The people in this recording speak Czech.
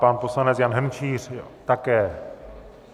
Pan poslanec Jan Hrnčíř také.